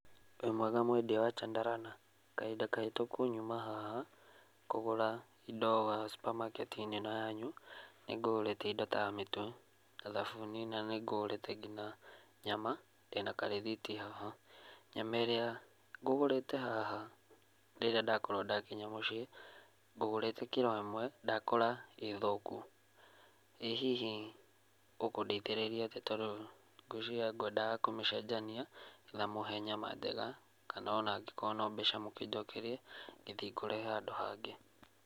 Wĩ mwega mwendia wa Chandarana? Kahinda kahĩtũku nyuma haha kũgũra indo haha cumbamaketi-inĩ ĩno yanyu nĩngũgũrĩte indo ta mĩtu na thabuni na nĩ ngũgũrĩte nginya nyama ndĩna karĩthiti haha, nyama ĩria ngũgũrĩte haha rĩrĩa ndakorwo ndakinya mũciĩ gũgũrĩte kĩro ĩmwe ndakora ĩthũku, ĩ hihi ũkũndeithĩrĩria atíĩ tondũ gũiciria kwendaga kũmĩcenjania na mũhe nyama njega kana o nangĩkorwo nĩ mbeca mũnjokerie gĩthiĩ ngũre handũ hangĩ.